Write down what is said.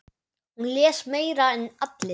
Hún les meira en allir.